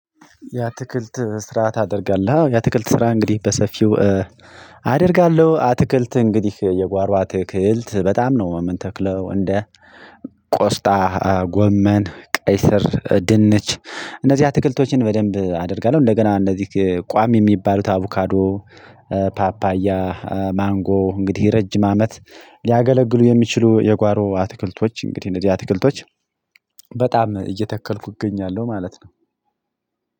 የአትክልት ስራ ታደርጋለሁ። የአትክልት ስራ እንግዲህ በሰፊው አደርጋለሁ። አትክልት እንግዲህ የጓሮ አትክልት በጣም ነው። ምንተክለው እንደ ቆስታ፣ ጎመን፣ ቀይስር፣ ድንች እነዚህ አትክልቶችን በደንብም አደርጋለሁ። እንደገና እነዚህ ቋም የሚባለው አቡካዶ፣ ፓፓያ፣ ማንጎ፣ እንግዲህ የረጅም አመት ሊያገለግሉ የሚችሉ የጓሮ አትክልቶች፣ እንግዲህ አትክልቶች በጣም እየተከልኩ እገኛለሁ ማለት ነው።